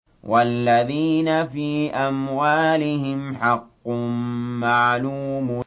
وَالَّذِينَ فِي أَمْوَالِهِمْ حَقٌّ مَّعْلُومٌ